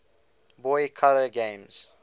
boy color games